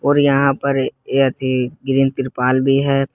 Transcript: और यहां पर एक ये ग्रीन तिरपाल भी है।